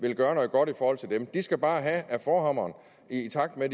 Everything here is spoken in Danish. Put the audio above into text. vil gøre noget godt i forhold til dem de skal bare have med forhammeren i takt med